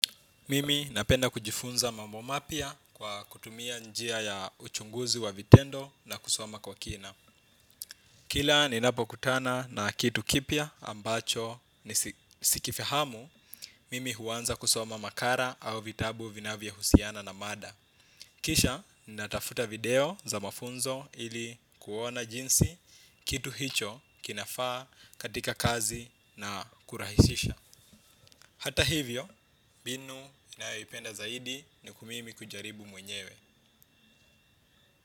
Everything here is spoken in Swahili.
Mimi napenda kujifunza mambo mapya kwa kutumia njia ya uchunguzi wa vitendo na kusoma kwa kina. Kila ninapokutana na kitu kipya ambacho sikifahamu mimi huanza kusoma makala au vitabu vinavyohusiana na mada. Kisha natafuta video za mafunzo ili kuona jinsi kitu hicho kinafaa katika kazi na kurahisisha. Hata hivyo, mbinu ninayoipenda zaidi ni mimi kujaribu mwenyewe.